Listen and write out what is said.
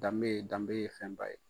Danbe danbe ye fɛnba ye.